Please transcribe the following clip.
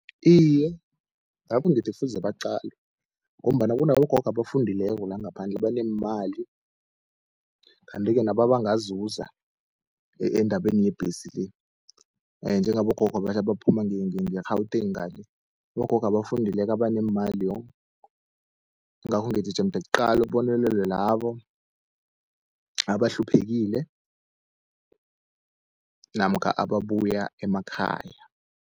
Iye, nami ngithi kufuze baqalwe, ngombana kunabogogo abafundileko la ngaphandle abaneemali. Kanti-ke nabo abangazuza endabeni yebhesi le, njengabogogo abaphuma ngeGauteng ngale, abogogo abafundileko abaneemali yongh! Ingakho ngithi jemde kuqalwe, kubonelelwe labo abahluphekile namkha ababuya emakhaya.